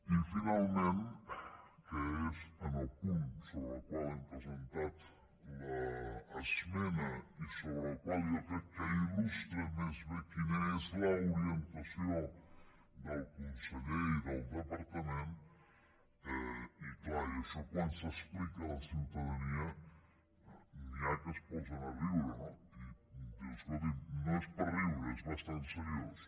i finalment que és que en el punt sobre el qual hem presentat l’esmena i sobre el qual jo crec que il·lustra més bé quina és l’orientació del conseller i del departament i clar i això quan s’explica a la ciutadania n’hi ha que es posen a riure no i dius escolti’m no és per riure és bastant seriós